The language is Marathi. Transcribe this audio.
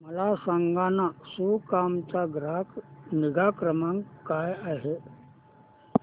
मला सांगाना सुकाम चा ग्राहक निगा क्रमांक काय आहे